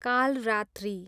Kalaratri